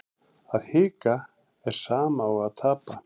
Að hika er sama og að tapa